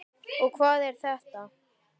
og Hvað er þetta?